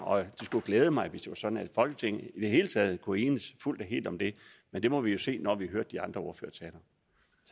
og det skulle glæde mig hvis det var sådan at folketinget i det hele taget kunne enes fuldt og helt om det men det må vi jo se når vi